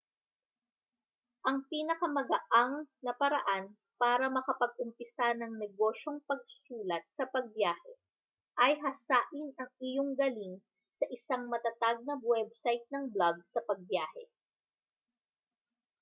ang pinakamagaang na paraan para makapag-umpisa ng negosyong pagsulat sa pagbiyahe ay hasain ang iyong galing sa isang matatag na website ng blog sa pagbiyahe